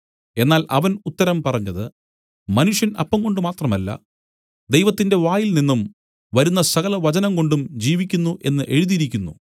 എന്നാൽ അവൻ ഉത്തരം പറഞ്ഞത് മനുഷ്യൻ അപ്പംകൊണ്ട് മാത്രമല്ല ദൈവത്തിന്റെ വായിൽനിന്നും വരുന്ന സകല വചനംകൊണ്ടും ജീവിക്കുന്നു എന്നു എഴുതിയിരിക്കുന്നു